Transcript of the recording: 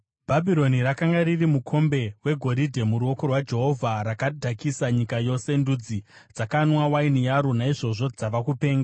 Bhabhironi rakanga riri mukombe wegoridhe muruoko rwaJehovha; rakadhakisa nyika yose. Ndudzi dzakanwa waini yaro; naizvozvo dzava kupenga.